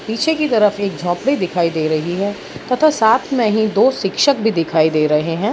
पीछे की तरफ एक झोपड़ी दिखाई दे रही है तथा साथ मे ही दो शिक्षक भी दिखाई दे रहे है।